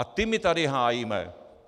A ty my tady hájíme!